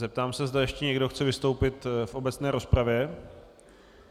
Zeptám se, zda ještě někdo chce vystoupit v obecné rozpravě.